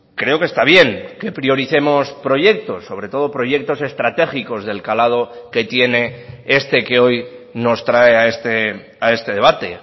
creo que está bien que prioricemos proyectos sobre todo proyectos estratégicos del calado que tiene este que hoy nos trae a este debate